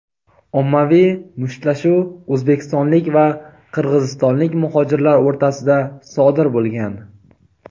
ommaviy mushtlashuv o‘zbekistonlik va qirg‘izistonlik muhojirlar o‘rtasida sodir bo‘lgan.